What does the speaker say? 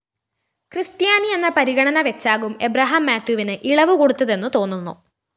ക്രിസ്ത്യാനിയെന്ന പരിഗണന വെച്ചാകും ഏബ്രഹാം മാത്യുവിന് ഇളവുകൊടുത്തതെന്നു തോന്നുന്നു